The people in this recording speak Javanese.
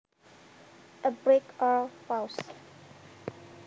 A break or pause